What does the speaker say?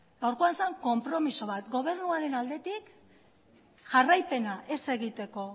gaurkoan zen konpromezu bat gobernuaren aldetik jarraipena ez egiteko